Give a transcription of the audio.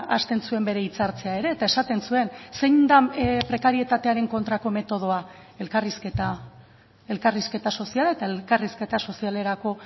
hasten zuen bere hitzartzea ere eta esaten zuen zein den prekarietatearen kontrako metodoa elkarrizketa elkarrizketa soziala eta elkarrizketa sozialerako